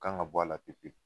Kan ka bɔ a la pewu pewu